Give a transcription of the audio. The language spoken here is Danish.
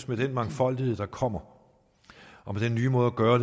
med den mangfoldighed der kommer og med den nye måde at gøre